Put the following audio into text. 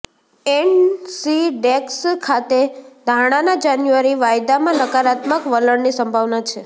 એનસીડેક્સ ખાતે ધાણાના જાન્યુઆરી વાયદામાં નકારાત્મક વલણની સંભાવના છે